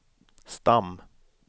stam